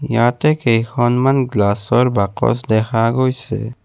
ইয়াতে কেইখনমান গ্লাচৰ বাকচ দেখা গৈছে।